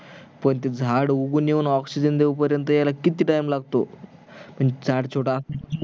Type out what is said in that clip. पण ते झाड उगून येवून oxygen देवू पर्यंत यार किती time लागतो पण झाड छोटा